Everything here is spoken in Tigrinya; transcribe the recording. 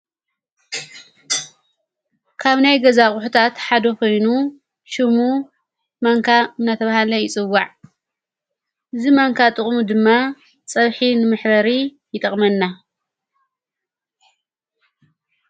ካብ ናይ ገዛ ኣቕሑታት ሓዶ ኾይኑ ሹሙ ማንካ ናተብሃለ ይጽዋዕ እዝ መንካ ጥቕሙ ድማ ጸብሒ ን መሕበሪ ይጠቕመና።